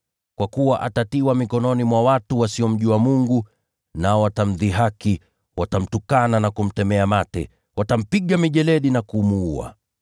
Kwa kuwa atatiwa mikononi mwa watu wasiomjua Mungu, nao watamdhihaki, watamtukana na kumtemea mate, watampiga mijeledi na kumuua.